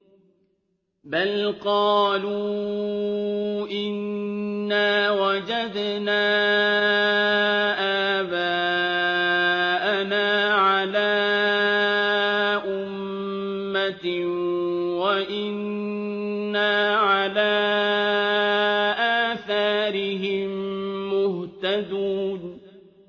بَلْ قَالُوا إِنَّا وَجَدْنَا آبَاءَنَا عَلَىٰ أُمَّةٍ وَإِنَّا عَلَىٰ آثَارِهِم مُّهْتَدُونَ